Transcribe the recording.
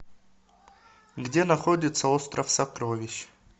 где находится остров сокровищ